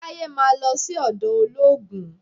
Taye máa lọ sí ọ̀dọ̀ olóògùn